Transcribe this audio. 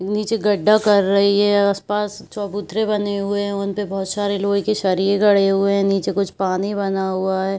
नीचे गढ्ढा कर रही है आसपास चबूतरे बने हुए है उनपे बहुत सारी लोहे के सरिये गड़े हुए है नीचे कुछ पानी बना हुआ है।